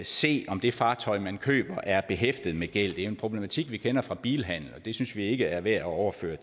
se om det fartøj man køber er behæftet med gæld det er en problematik vi kender fra bilhandel og den synes vi ikke er værd at overføre